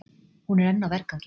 Hún er enn á vergangi.